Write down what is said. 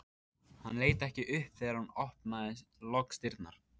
Hann leit ekki upp þegar hún opnaði loks dyrnar.